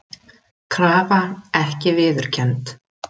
Krafa ekki viðurkennd